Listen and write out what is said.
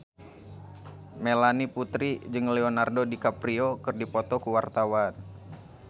Melanie Putri jeung Leonardo DiCaprio keur dipoto ku wartawan